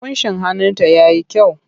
Ƙunshin hannunta ya yi kyau.